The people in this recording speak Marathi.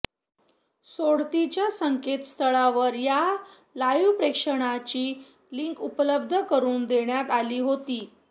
सोडतीच्या संकेतस्थळावर या लाईव्ह प्रक्षेपणाची लिंक उपलब्ध करून देण्यात आली होती